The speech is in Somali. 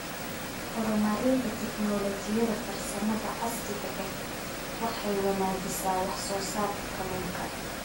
Horumarinta Tignoolajiyada Farsamada casriga ahi waxay wanaajisaa wax soo saarka kalluunka.